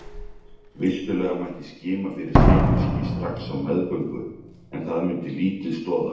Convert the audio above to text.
Vissulega mætti skima fyrir sykursýki strax á meðgöngu en það myndi lítið stoða.